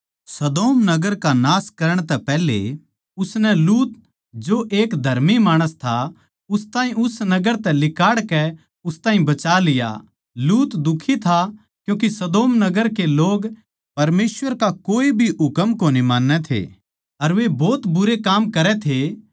सदोम नगर का नाश करण तै पैहले उसनै लूत जो के एक धर्मी माणस था उस ताहीं उस नगर तै लिकाड़ कै उस ताहीं बचा लिया लूत दुखी था क्यूँके सदोम नगर के लोग परमेसवर का कोए भी हुकम कोनी मान्नै थे अर वे भोत बुरे काम करै थे